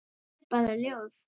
Það er bara ljóð.